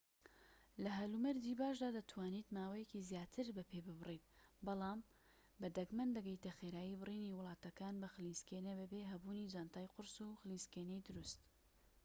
لە هەلومەرجی باشدا دەتوانیت ماوەیەکی زیاتر بە پێ ببڕیت بەڵام بە دەگمەن دەگەیتە خێرایی بڕینی وڵاتەکان بە خلیسکێنە بەبێ هەبوونی جانتای قورس و خلیسکێنەی دروست